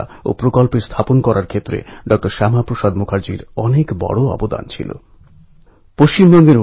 এঁরাই সঠিক সময়ে সমাজকে সঠিক পথ দেখিয়েছেন এবং সমাজ থেকে পুরনো কুসংস্কার দূর হোক এটা সুনিশ্চিত করেছেন